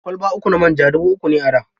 Kwalba uku na manja dubu uku ne a da.